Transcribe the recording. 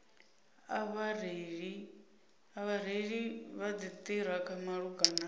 a vhareili vha dziṱhirakha malugana